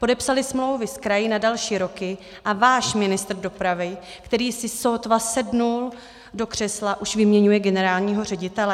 Podepsaly smlouvy s kraji na další roky a váš ministr dopravy, který si sotva sedl do křesla, už vyměňuje generálního ředitele?